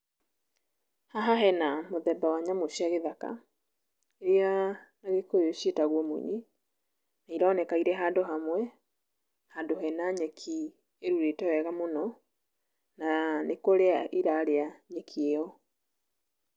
Haha hena mũthemba wa nyamũ cia gĩthaka iria na gĩkũyũ ciĩtagwo munyi na ironeka irĩ handũ hamwe handũ hena nyeki ĩrurĩte wega mũno na nĩkũria irarĩa nyeki ĩyo.